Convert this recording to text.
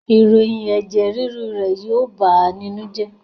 Ìròyìn Ẹ̀ẹ̀ẹ̀ ríru rẹ̀ yóó bàá nínú jẹ́.